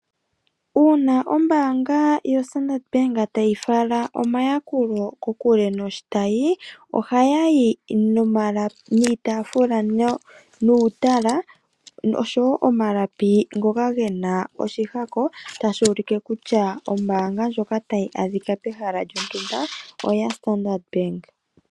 Uuna ombaanga yoStandard bank tayi fala omayakulo kokule noshitayi, ohaya yi niitaafula nuutala oshowo omalapi ngoka gena oshihako tashi ulike kutya ombaanga ndjoka tayi adhika pehala lyontumba oyaStandard bank.